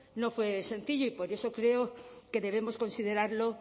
no fue sencillo y por eso creo que debemos considerarlo